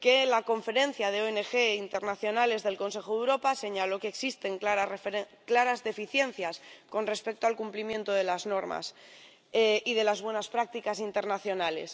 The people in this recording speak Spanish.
La Conferencia de ONG Internacionales del Consejo de Europa señaló que existen claras deficiencias con respecto al cumplimiento de las normas y de las buenas prácticas internacionales.